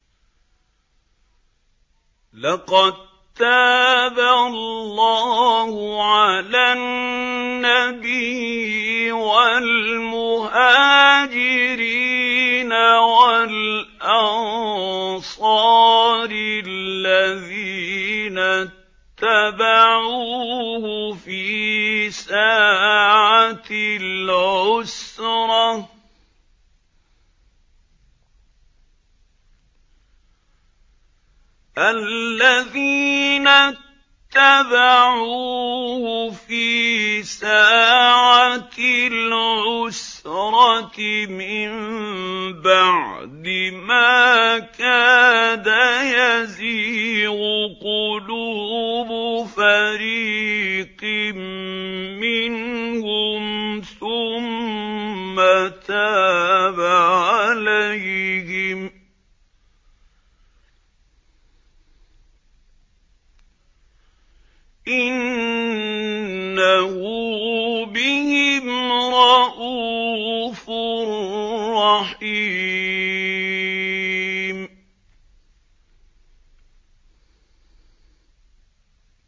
لَّقَد تَّابَ اللَّهُ عَلَى النَّبِيِّ وَالْمُهَاجِرِينَ وَالْأَنصَارِ الَّذِينَ اتَّبَعُوهُ فِي سَاعَةِ الْعُسْرَةِ مِن بَعْدِ مَا كَادَ يَزِيغُ قُلُوبُ فَرِيقٍ مِّنْهُمْ ثُمَّ تَابَ عَلَيْهِمْ ۚ إِنَّهُ بِهِمْ رَءُوفٌ رَّحِيمٌ